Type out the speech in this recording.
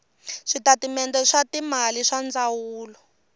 switatimende swa timali swa ndzawulo